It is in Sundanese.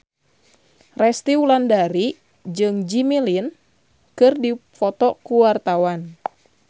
Resty Wulandari jeung Jimmy Lin keur dipoto ku wartawan